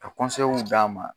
Ka d'a ma.